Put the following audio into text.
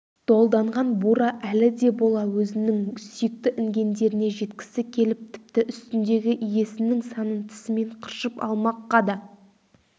долданған бура әлі де бола өзінің сүйікті інгендеріне жеткісі келіп тіпті үстіндегі иесінің санын тісімен қыршып алмаққа да